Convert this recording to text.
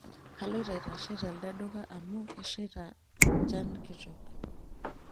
Kaloito aitashe telde duka amu kesheita njan kitok